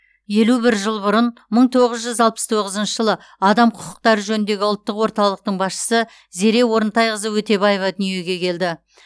елу бір жыл бұрын мың тоғыз жүз алпыс тоғызыншы жылы адам құқықтары жөніндегі ұлттық орталықтың басшысы зере орынтайқызы өтебаева дүниеге келді